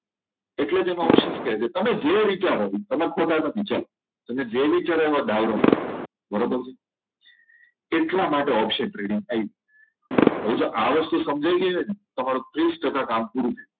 એટલે જ એના option કે છે તમે જે વિચારો તમે ખોટા નથી ચાલો તમે જે વિચારો એમાં દાવ રમો બરોબર છે એટલા માટે option trading થાય છે હવે આ વસ્તુ જે સમજાઈ ગઈ છે તમે ત્રીસ ટકા કામ પૂરું થઈ ગયું